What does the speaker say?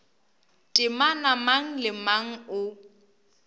temana mang le mang o